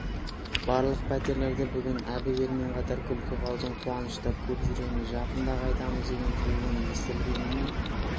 барлық пәтерлерде бүгін әбігермен қатар күлкі қалжың қуаныш та көп жүреміз жақында қайтамыз деген сөздің естілгеніне